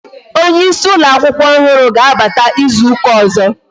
Onyeisi ụlọ akwụkwọ ọhụrụ ga-abata ịzụta ọzọ